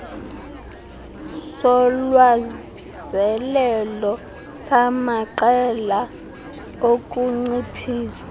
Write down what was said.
solwazelelo samaqela okunciphisa